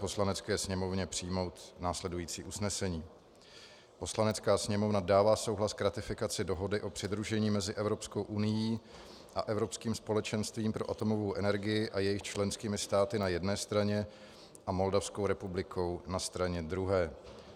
Poslanecké sněmovně přijmout následující usnesení: Poslanecká sněmovna dává souhlas k ratifikaci Dohody o přidružení mezi Evropskou unií a Evropským společenstvím pro atomovou energii a jejich členskými státy na jedné straně a Moldavskou republikou na straně druhé.